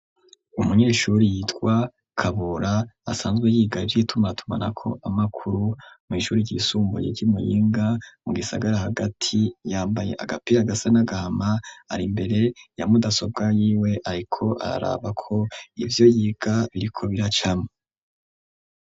Umunyeshuri yitwa kabura asanzwe yigarije itumatumana ko amakuru mw'ishuri ryisumbuye ry'imuyinga mu gisagara hagati yambaye agapira gasa n'agahama ari imbere ya mudasobwa yiwe ariko araraba ko ibyo yiga biriko biracama.